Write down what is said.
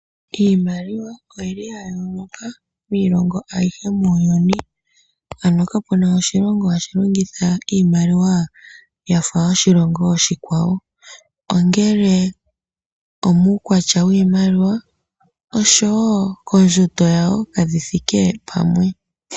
Iimaliwa oyili ya yooloka miilongo ayihe muuyuni. Ano kapena oshilongo hashi longitha iimaliwa yafa yoshilongo oshikwawo, kutya nee uukwatya wiimaliwa nenge kondjundo yawo kayi thike pamwe.